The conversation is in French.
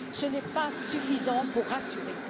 Ce n'est pas suffisant pour rassurer.